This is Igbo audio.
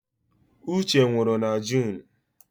Uche nwụrụ na Junu